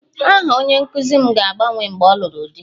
Aha nna onye nkụzi m ga-agbanwe mgbe ọ lụrụ di